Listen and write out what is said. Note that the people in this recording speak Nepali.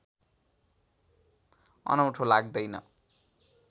अनौठो लाग्दैन